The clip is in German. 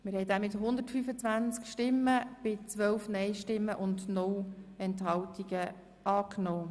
Der Grosse Rat hat den Antrag SiK und Regierungsrat angenommen.